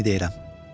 Vikini deyirəm.